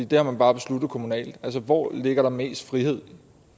det har man bare besluttet kommunalt hvor ligger der mest frihed